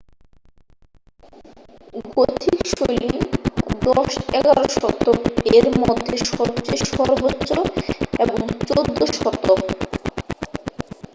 Gothic শৈলী 10 - 11 শতক এর মধ্যে সময়ে সর্বোচ্চ এবং 14 শতক